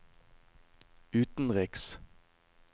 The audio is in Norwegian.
utenriks